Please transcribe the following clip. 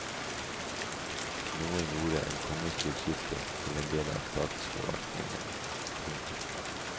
Noen gjorde en kongestyrt kirke til en del av statsforvaltningen. punktum